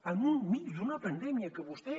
enmig d’una pandèmia que vostè